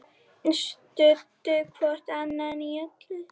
Studdu hvort annað í öllu.